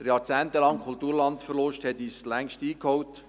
Der jahrzehntelange Kulturlandverlust hat uns längst eingeholt.